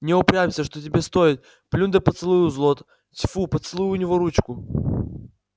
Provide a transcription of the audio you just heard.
не упрямься что тебе стоит плюнь да поцелуй у злод тьфу поцелуй у него ручку